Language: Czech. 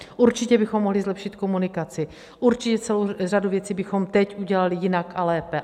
Určitě bychom mohli zlepšit komunikaci, určitě celou řadu věcí bychom teď udělali jinak a lépe.